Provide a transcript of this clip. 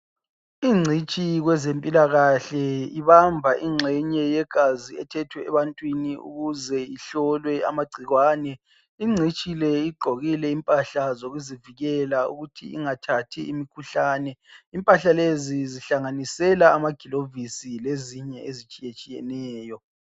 Ingcitshi kwezempilakahle ibamba ingxenye yegazi elithethwe ebantwini ukuze ihlolwe amagcikwane. Ingcitshi le igqokile impahla zokuzivikela ukuthi ingathathi imikhuhlane, impahla lezi zihlanganisela amagilovisi lezinye ezitshiyatshiyeneyo.